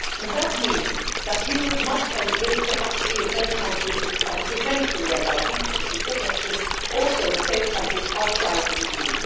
This means that Europe must help build capacity in third countries which can eventually allow people to seek protection also in safe countries outside the EU.